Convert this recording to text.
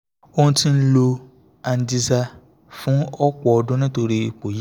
ó ti ń lo angizaar h fún ọ̀pọ̀ ọdún nítorí ipò yìí